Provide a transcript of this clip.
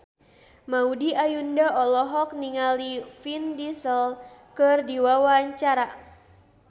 Maudy Ayunda olohok ningali Vin Diesel keur diwawancara